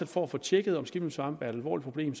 for at få tjekket om skimmelsvamp er et alvorligt problem